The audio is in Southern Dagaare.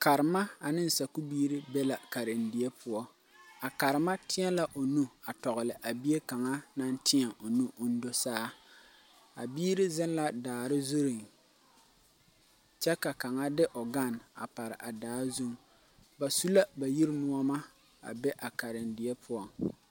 Karema ane sakuu biiri bela karendie pou a karema tei la ɔ nu tɔgli a bie kanga nang tee ɔ nu ɔn do saa a biiri zeng la daare zurin kye ka kang de ɔ gane a pare a daa zung ba su la ba yiri nuoma a be a karendie puo.